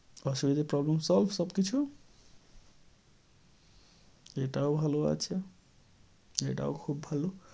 অসুবিধা problem solve সব কিছু? এটাও ভালো আছে। এটাও খুব ভালো।